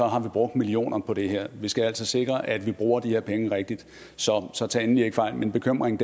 har vi brugt millioner på det her vi skal altså sikre at vi bruger de her penge rigtigt så tag endelig ikke fejl min bekymring